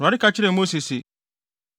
Awurade ka kyerɛɛ Mose se,